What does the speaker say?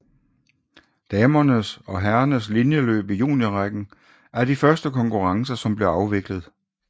Damernes og herrernes linjeløb i juniorrækken er de første konkurrencer som bliver afviklet